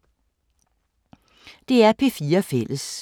DR P4 Fælles